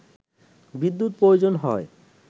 বিদ্যুৎ প্রয়োজন হয়